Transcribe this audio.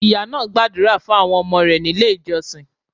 Ìyá náà gbàdúrà fún àwọn ọmọ rẹ̀ nílé ìjọsìn.